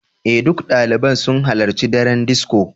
Ee, duk ɗaliban sun halarci daren disco.